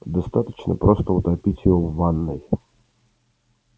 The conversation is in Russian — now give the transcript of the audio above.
достаточно просто утопить его в ванной